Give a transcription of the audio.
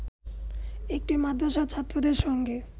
একটি মাদ্রাসার ছাত্রদের সঙ্গে